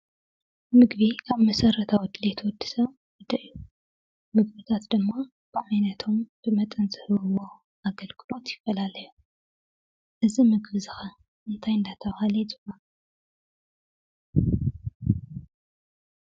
ምግቢ ካብ መሰረታዊ ድሌት ወድሰብ ሓደ እዩ፡፡ ምግብታት ድማ ብዓይነቶም ብመጠን ዝህብዎ ኣገልግሎት ይፈላለዩ፡፡ እዚ ምግቢ እዚ ኸ እንታይ እንዳተባህለ ይፅዋዕ?